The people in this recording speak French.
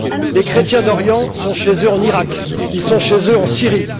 Les chrétiens d'Orient sont chez eux en Iraq, ils sont chez eux en Syrie.